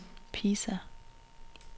Pisa